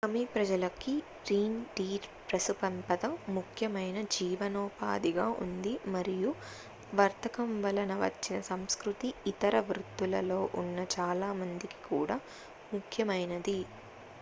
సమి ప్రజలకి reindeer పశుసంపద ముఖ్యమైన జీవనోపాధిగా ఉంది మరియు వర్తకం వలన వచ్చిన సంస్కృతి ఇతర వృత్తులలో ఉన్న చాలా మందికి కూడా ముఖ్యమైనది